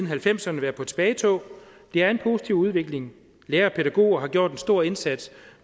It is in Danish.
halvfemserne været på tilbagetog det er en positiv udvikling lærere og pædagoger har gjort en stor indsats